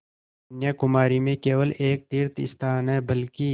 कन्याकुमारी में केवल एक तीर्थस्थान है बल्कि